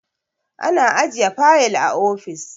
ana ajiye fayil a ofis